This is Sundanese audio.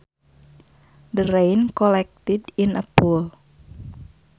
The rain collected in a pool